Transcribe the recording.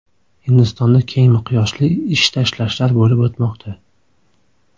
Hindistonda keng miqyosli ish tashlashlar bo‘lib o‘tmoqda.